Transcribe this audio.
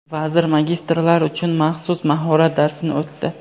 Vazir magistrlar uchun maxsus mahorat darsini o‘tdi.